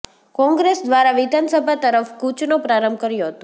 કોંગ્રેસ દ્વારા વિધાનસભા તરફ કૂચનો પ્રારંભ કર્યો હતો